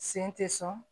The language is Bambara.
Sen tɛ sɔn